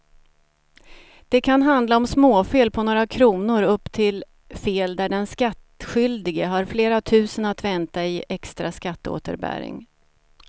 Det kan handla om småfel på några kronor upp till fel där den skattskyldige har flera tusen att vänta i extra skatteåterbäring.